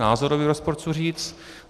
Názorový rozpor, chci říct.